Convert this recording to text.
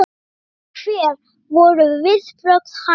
Hvernig, hver voru viðbrögð hans?